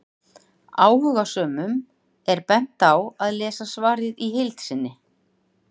Áhugasömum er bent á að lesa svarið í heild sinni.